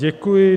Děkuji.